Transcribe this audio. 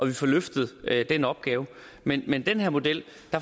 vi får løftet den opgave men med den her model